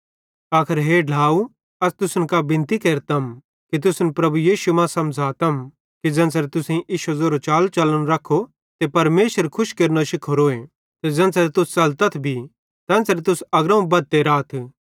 आखर हे ढ्लाव अस तुसन कां बिनती केरतम ते तुसन प्रभु यीशु मां समझ़ातम कि ज़ेन्च़रे तुसेईं इश्शो ज़ेरो चाल च़लन रखो ते परमेशर खुश केरनो शिखोरोए ते ज़ेन्च़रे तुस च़लतथ भी तेन्च़रे तुस अग्रोवं बद्धते राथ